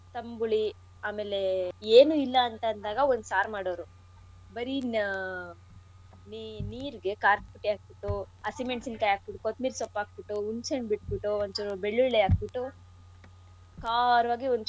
ತಂಬುಳಿ ಆಮೇಲೆ ಏನೂ ಇಲ್ಲ ಅಂತಂದಾಗ ಒಂದ್ ಸಾರ್ ಮಾಡೋರು ಬರೀ ನ ನೀ~ ನೀರ್ಗೆ ಕಾರದ್ಪುಡಿ ಹಾಕ್ಬುಟ್ಟು ಅಸಿಮೆಣಸಿನ್ ಕಾಯಿ ಹಾಕ್ಬಿಟ್ ಕೊತ್ಮೀರಿ ಸೊಪ್ಪು ಹಾಕ್ಬಿಟ್ಟು ಹುಣ್ಸೆ ಹಣ್ಣು ಬಿಟ್ಬಿಟ್ಟು ಒಂಚೂರು ಬೆಳ್ಳುಳ್ಳಿ ಹಾಕ್ಬಿಟ್ಟು ಖಾರವಾಗಿ ಒಂಚೂರು.